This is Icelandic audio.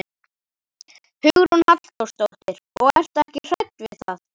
Hugrún Halldórsdóttir: Og ertu ekkert hrædd við það?